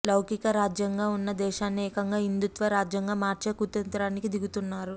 లౌకికరాజ్యాంగంగా ఉన్న దేశాన్ని ఏకంగా హిందూత్వ రాజ్యంగా మార్చే కుతంత్రానికి దిగుతున్నారు